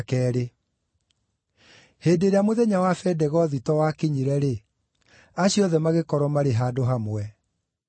Hĩndĩ ĩrĩa mũthenya wa Bendegothito wakinyire-rĩ, acio othe magĩkorwo maarĩ handũ hamwe.